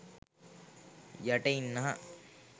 යට ඉන්නාහ.